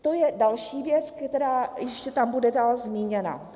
To je další věc, která ještě tam bude dál zmíněna.